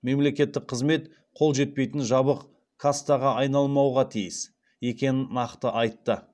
мемлекеттік қызмет қол жетпейтін жабық кастаға айналмауға тиіс екенін нақты айтты